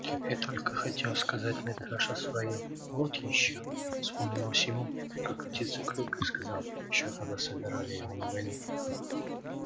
и только хотел сказать митраша своё вот ещё вспомнилось ему как отец о клюкве сказал ещё когда собирали его на войну